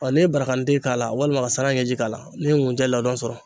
Ɔ n'i ye baragante k'a la walima ka sara ɲɛji k'a la , ne'i ye nkunjɛ ladon sɔrɔ.